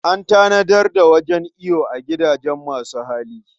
An tanadar da wajen iyo a gidajen masu hali.